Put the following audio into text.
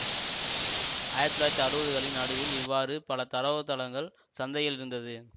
ஆயிரத்தி தொள்ளாயிரத்தி அறுபதுகளின் நடுவில் இவ்வாறு பல தரவுத்தளங்கள் சந்தையில் இருந்தது